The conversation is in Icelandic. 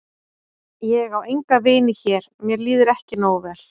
Ég á enga vini hér mér líður ekki nógu vel.